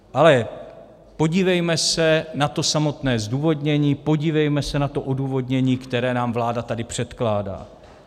Ale podívejme se na to samotné zdůvodnění, podívejme se na to odůvodnění, které nám vláda tady předkládá.